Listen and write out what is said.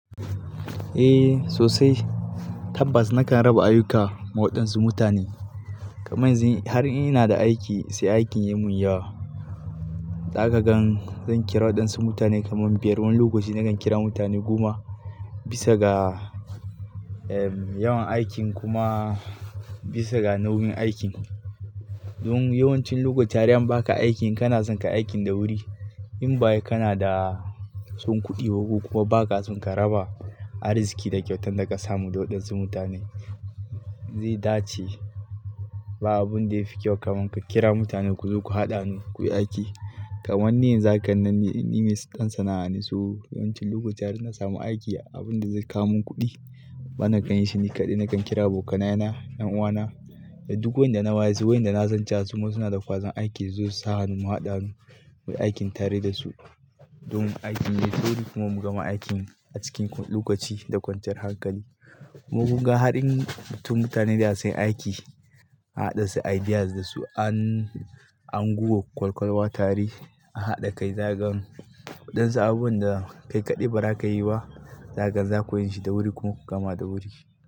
Eh sosai, tabbas na kan raba ayyuka wa waɗansu mutane. Kaman zi har in ina da aiki sai aikin ya mun yawa. Zaka gan zan kira waɗansu mutane kaman biyar. Wani lokaci na kan kira mutane goma bisa ga, ehm, yawan aikin kuma bisa ga nauyin aikin. Don yawancin lokaci har in ba ka aikin kana son ka aikin da wuri. In ba haka kana da son kuɗi ba ko kuma ba ka son ka raba arziqi da kyautan da ka samu da waɗansu mutane. Zai dace ba abun da ya fi kyau kaman ka kira mutane ku zo ku haɗa hanu ku yi aiki. Kamanni yanzu haka nan nime ɗan sana'a ne so. Yawancin lokaci har ina samu aiki abun da zai ka mun kuɗi bana kan yi shi ni kaɗai. Na kan kira abokanaye na, ƴan'uwana da duk wanda na wayesu, wayanda na san cewa suna da kwazon aiki su zo su sa hannu mu haɗa mu yi aikin tare da su. Don aikin ya yi sauri kuma mu gama aikin a cikin lokaci da kwanciyar hankali. Mukun ga har in fitun mutane da yawa sunyi aiki an haɗa su ideas da su an, an gugo ƙwal-ƙwal wa tare an haɗa kai. Zaka gan waɗansu abunwa da kai kaɗai ba za ka yi ba, zakan za ku yin shi da wuri kuma ku gama da wuri.